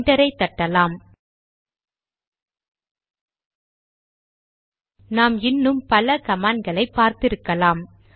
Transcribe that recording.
என்டரை தட்டலாம் நாம் இன்னும் பலகமாண்ட் களை பார்த்திருக்கலாம்